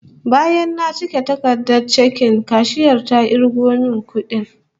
Bayan na cike takardar chekin, kashiyar ta kirgo min kudin